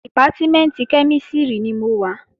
Dìpátímẹ̀ntì kẹ́mísìrì ni mo wà